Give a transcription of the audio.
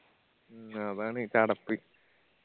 മ്മ് അതാണ് ചടപ്പ്